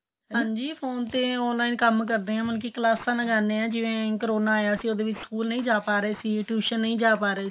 ਹਾਂਜੀ ਫੋਨ ਤੇ online ਕੰਮ ਕਰਦੇ ਏ ਮਤਲਬ ਕਿ ਕਲਾਸਾ ਲਗਾਦੇ ਏ ਜਿਵੇਂ ਕਰੋਨਾ ਆਇਆਂ ਸੀ ਉਹਦੇ ਵਿੱਚ school ਨਹੀਂ ਜਾ ਪਾ ਰਹੇ ਸੀ tuition ਨਹੀਂ ਜਾ ਪਾ ਰਹੇ ਸੀ